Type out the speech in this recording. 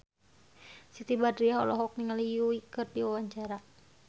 Siti Badriah olohok ningali Yui keur diwawancara